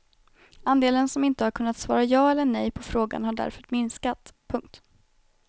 Andelen som inte har kunnat svara ja eller nej på frågan har därför minskat. punkt